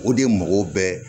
O de ye mɔgɔw bɛɛ